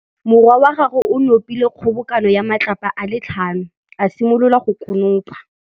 Morwa wa gagwe o nopile kgobokanô ya matlapa a le tlhano, a simolola go konopa.